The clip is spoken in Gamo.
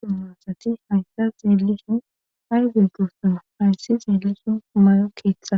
tuma asati haysta zeelishun hay zeggosuna hayssi zeelishin may7o keeththa